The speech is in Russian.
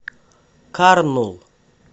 карнул